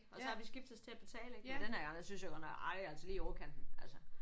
Og så har vi skiftedes til at betale ik men den har gang der synes jeg godt nok ej altså lige i overkanten altså